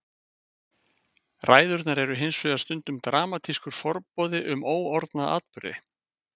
Ræðurnar eru hins vegar stundum dramatískur forboði um óorðna atburði.